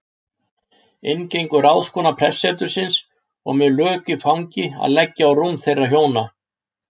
Inn gengur ráðskona prestsetursins og með lök í fangi að leggja á rúm þeirra hjónanna.